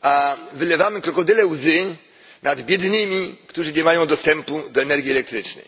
a wylewamy krokodyle łzy nad biednymi, którzy nie mają dostępu do energii elektrycznej.